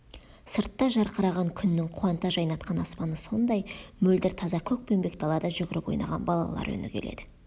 сыртта жарқыраған күннің қуанта жайнатқан аспаны сондай мөлдір таза көкпеңбек далада жүгіріп ойнаған балалар үні келеді